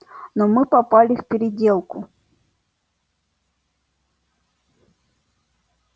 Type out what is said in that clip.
но мы попали в переделку